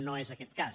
no és aquest cas